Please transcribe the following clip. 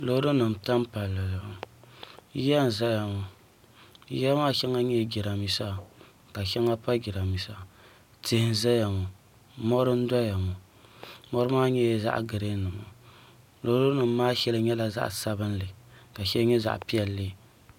Loori nima n tam palli zuɣu yiya n ʒɛya maa yiya maa shɛli nyɛla jiranbiisi ka shɛŋa pa jiranbiisa tihi n ʒɛya ŋo mori n doya ŋo mori maa nyɛla zaɣ giriin loori nim maa shɛli nyɛla zaɣ piɛlli ka shɛli nyɛ zaŋ sabinli